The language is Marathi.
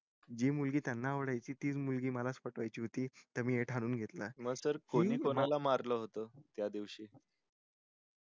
जी मुलगी त्यांना आवडायची तीच मुलगी मला पटवून घ्याची होती हे मी ठरवून घेतलं होत त्या दिवशी